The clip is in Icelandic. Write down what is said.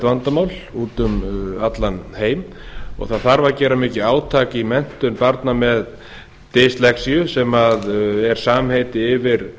vandamál út um allan heim gera þarf mikið átak í menntun barna með dyslexía sem er samheiti yfir